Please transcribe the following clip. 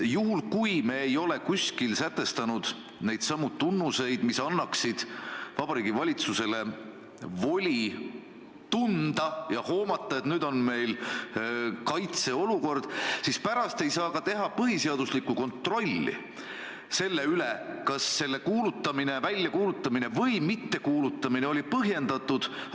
Juhul kui me ei ole kuskil sätestanud neidsamu tunnuseid, mille alusel Vabariigi Valitsus võiks tunda ja hoomata, et nüüd on meil kaitseolukord, siis pärast ei saa ka teha põhiseaduslikku kontrolli selle üle, kas selle väljakuulutamine või mittekuulutamine oli põhjendatud.